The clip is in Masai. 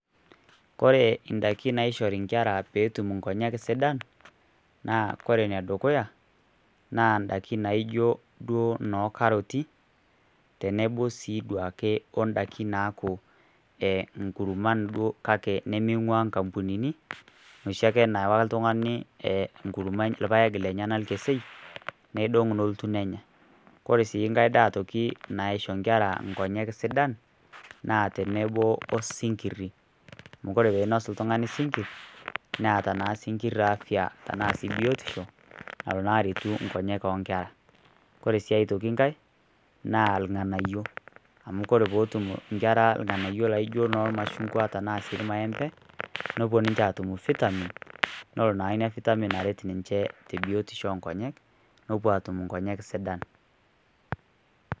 Kore indaikin nashori inkera peetum indaikin sidan naa kore enedukuya naa indaikin naijio duo noo karoti tenebo sii duake indaiki naajio inkurman kake nemeing'ua inkambunini noshi ake nawa oltung'ani enkurma enye enkesei neidong neloti nenya kore sii nkae daa naisho inkera nkonyek sidan naa tenebo osinkiri amu kore peinos oltung'ani sinkir naaata naa sinkir afya tenaa biotisho nalo naa aretu nkonyek oo nkera kore sii atoki ngae naa irng'anayio amu ore peetum inkera irng'anayio laijio irmaembe neitoki ninche aatum vitamin leno naa ina vitamin aret ninche tebiotisho oonkonyek nepuo aatum inkonyek sidan.